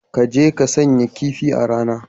Ka je ka shanya kifi a rana.